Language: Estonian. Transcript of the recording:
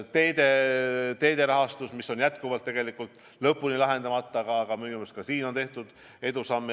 Teede rahastamine on jätkuvalt lõpuni lahendamata, aga minu meelest ka selles vallas on tehtud edusamme.